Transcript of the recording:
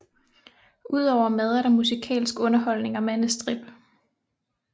Udover mad er der musikalsk underholdning og mandestrip